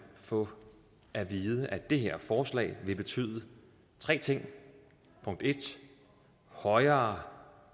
få at vide at det her forslag vil betyde tre ting punkt en højere